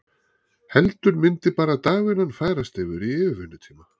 Heldur myndi bara dagvinnan færast yfir í yfirvinnutíma?